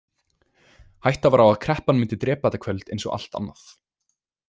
Hætta var á að kreppan myndi drepa þetta kvöld eins og allt annað.